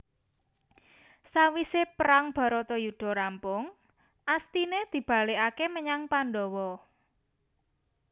Sawise prang Bharatayuda rampung Astine dibalikake menyang Pandawa